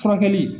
Furakɛli